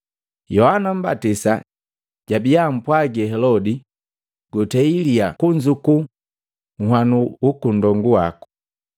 Yohana Mmbatisa jabia ampwagi Helodi, “Gutei lyaa kunzuku nwanu waka nndongu wako.”